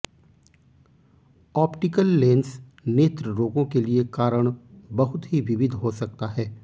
optical lens नेत्र रोगों के लिए कारण बहुत ही विविध हो सकता है